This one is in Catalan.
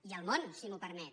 i el món si m’ho permet